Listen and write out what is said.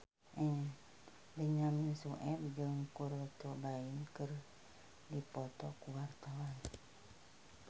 Benyamin Sueb jeung Kurt Cobain keur dipoto ku wartawan